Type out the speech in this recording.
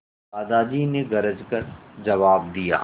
दादाजी ने गरज कर जवाब दिया